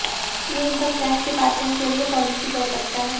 ये income tax department के लिए पॉलिसी तय करता है